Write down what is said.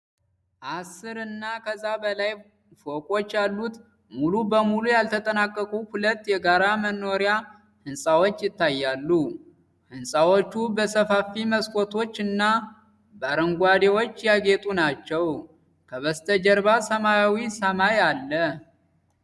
አስር እና ከዛ በላይ ፎቆች ያሉት፣ ሙሉ በሙሉ ያልተጠናቀቁ ሁለት የጋራ መኖሪያ ሕንፃዎች ይታያሉ። ሕንፃዎቹ በሰፋፊ መስኮቶች እና በረንዳዎች ያጌጡ ናቸው። ከበስተጀርባ ሰማያዊ ሰማይ አለ።